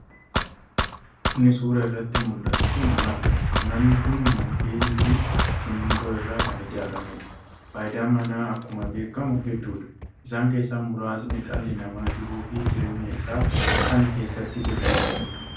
Inni suuraa irratti muldhatu kun mana. manni kun mukkeenii fi simmiintoo irraa kan ijaarameedha. Faayidaan manaa akkuma beekkamu hedduudha. Isaan keessaa muraasni dhalli namaa jiruu fi jireenya isaa kan keessatti geggeeffatuudha.